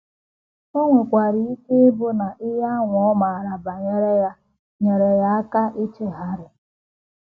O nwekwara ike ịbụ na ihe ahụ ọ maara banyere ya nyeere ya aka ichegharị.